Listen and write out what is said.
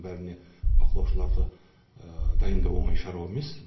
бәріне бақылаушыларды дайындау оңай шаруа емес